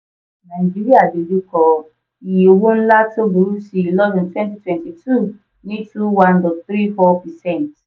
nàíjíríà dojú kọ iye owó ńlá tó burú sí i lọ́dún twenty twenty two ní two one dot three four percent.